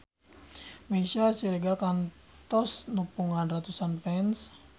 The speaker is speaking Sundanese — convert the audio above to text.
Meisya Siregar kantos nepungan ratusan fans